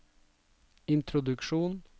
introduksjon